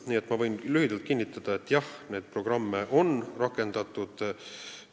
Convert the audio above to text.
Nii et ma võin lühidalt kinnitada, et jah, neid programme on rakendatud.